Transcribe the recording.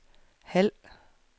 halv